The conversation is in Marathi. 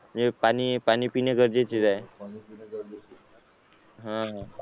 म्हणजे पाणी पाणी पिणे गरजेचे आहे